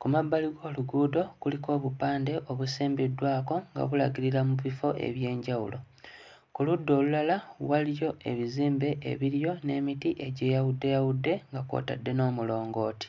Ku mabbali g'oluguudo kuliko obupande obusimbiddwako nga bulagirira mu bifo eby'enjawulo. Ku ludda olulala waliyo ebizimbe ebiriyo n'emiti egyeyawuddeyawudde nga kw'otadde n'omulongooti.